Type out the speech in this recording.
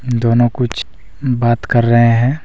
दोनों कुछ बात कर रहे हैं।